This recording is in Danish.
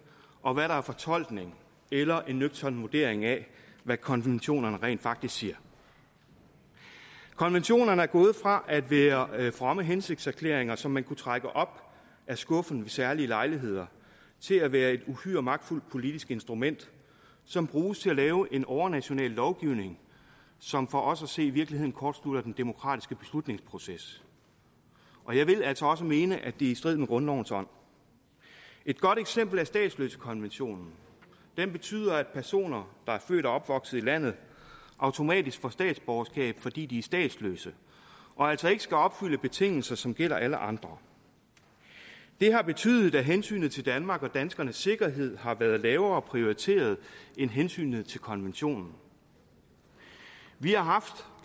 og hvad der er en fortolkning eller en nøgtern vurdering af hvad konventionerne rent faktisk siger konventionerne er gået fra at være fromme hensigtserklæringer som man kunne trække op af skuffen ved særlige lejligheder til at være et uhyre magtfuldt politisk instrument som bruges til at lave en overnational lovgivning som for os at se i virkeligheden kortslutter den demokratiske beslutningsproces og jeg vil altså også mene er i strid med grundlovens ånd et godt eksempel er statsløsekonventionen den betyder at personer der er født og opvokset i landet automatisk får statsborgerskab fordi de er statsløse og altså ikke skal opfylde betingelser som gælder for alle andre det har betydet at hensynet til danmark og danskernes sikkerhed har været lavere prioriteret end hensynet til konventionen vi har haft